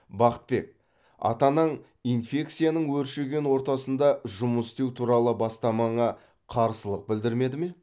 бақытбек ата анаң инфекцияның өршіген ортасында жұмыс істеу туралы бастамаңа қарсылық білдірмеді ме